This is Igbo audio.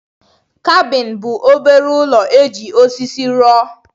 Kabin bụ obere ụlọ e ji osisi rụọ.